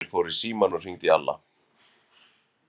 Emil fór í símann og hringdi í Alla.